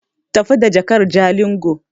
Tafi da jakar Jalingo!